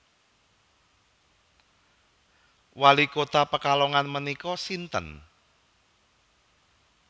Wali kota Pekalongan menika sinten?